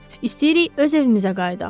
İstəyirik öz evimizə qayıdaq.